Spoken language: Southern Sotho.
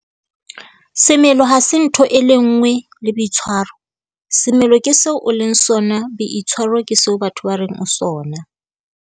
'Semelo ha se ntho e le nngwe le boitshwaro. Semelo ke seo o leng sona. Boitshwaro ke seo batho ba reng o sona'.